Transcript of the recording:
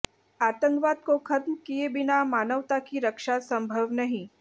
आतंकवाद को खत्म किए बिना मानवता की रक्षा संभव नहीं